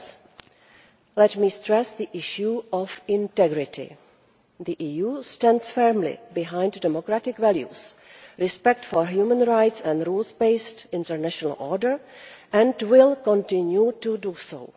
Fourth, let me stress the issue of integrity. The EU stands firmly behind democratic values, respect for human rights and a rules based international order and will continue to do so.